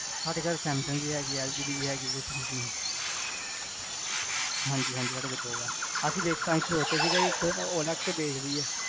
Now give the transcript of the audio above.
ਸਾਡੇ ਘਰ ਸੈਮਸੰਗ ਵੀ ਹੈਗੀ, ਐਲ ਜੀ ਦੀ ਵੀ ਹੈਗੀ washing machine ਹਾਂਜੀ ਹਾਂਜੀ ਸਾਡੇ ਘਰ ਦੋ ਹੈ ਅਸੀ ਬਿਚ ਆਏੰ ਸੋਚਿਆ ਸੀਗਾ, ਅਸੀ OLX ਤੇ ਬੇਚ ਦੀਏ